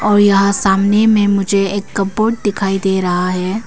और यहां सामने में मुझे एक कपबोर्ड दिखाई दे रहा है।